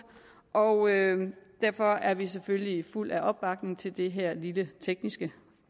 og derfor er vi selvfølgelig fulde af opbakning til det her lille tekniske